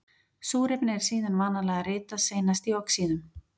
Súrefni er síðan vanalega ritað seinast í oxíðum.